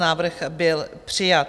Návrh byl přijat.